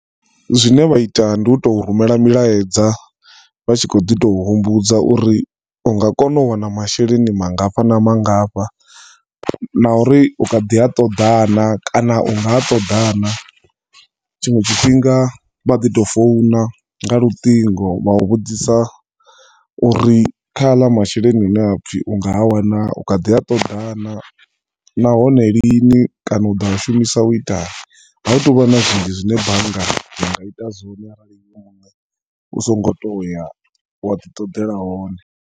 Zwine vha ita ndi uto rumela milaedza vhatshi khoḓi tou humbudza uri unga kona u wana masheleni mangafha na mangafha, na uri ukhaḓi a ṱoḓa na kana unga a ṱoḓana. Tshiṅwe tshifhinga vhaḓi to founa nga luṱingo vha u vhudzisa uri kha aḽa masheleni hune apfi unga a wana u khaḓi a ṱoḓana, nahone lini kana uḓo a shumisa u itani. A hu tovha na zwinzhi zwine bannga yanga ita u so ngo toya wa ḓi ṱoḓela one.